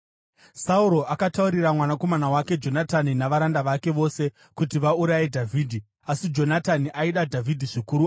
Sauro akataurira mwanakomana wake Jonatani navaranda vake vose kuti vauraye Dhavhidhi. Asi Jonatani aida Dhavhidhi zvikuru